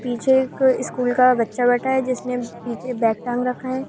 पीछे एक स्कूल का बच्चा बैठा है जिसने पीछे बैक टांग रखा है।